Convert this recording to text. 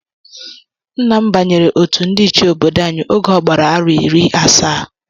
Nna m banyere otú ndị ichie obodo anyi oge ogbara arọ iri asaá